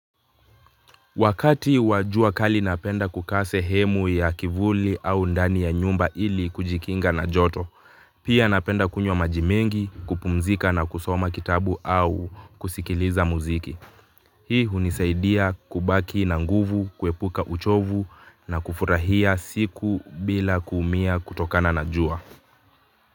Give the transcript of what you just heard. Wakati wa jua kali napenda kukaa sehemu ya kivuli au ndani ya nyumba ili kujikinga na joto, pia napenda kunywa maji mengi, kupumzika na kusoma kitabu au kusikiliza muziki. Hii hunisaidia kubaki na nguvu, kuepuka uchovu na kufurahia siku bila kuumia kutokana na jua.